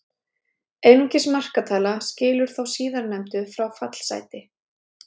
Einungis markatala skilur þá síðarnefndu frá fallsæti.